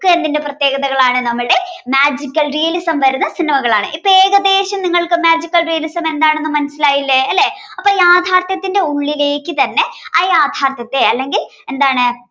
എന്തിന്റെ പ്രത്യേകതകളാണ് നമ്മളുടെ magical realism വരുന്ന സിനിമകളാണ് ഇപ്പോ ഏകദേശം നിങ്ങൾക്ക് magical realism എന്തത് മനസ്സിലായില്ലേ അല്ലേ. അപ്പോ യാഥാർത്ഥ്യത്തിന്റെ ഉള്ളിലേക്ക് തന്നെ ആ യാഥാർത്ഥ്യത്തെ അല്ലെങ്കിൽ എന്താണ്